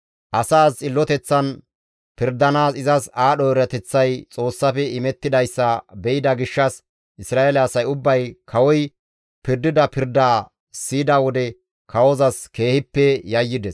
Asaas xilloteththan pirdanaas izas aadho erateththay Xoossafe imettidayssa be7ida gishshas Isra7eele asay ubbay kawoy pirdida pirdaa siyida wode kawozas keehippe yayyides.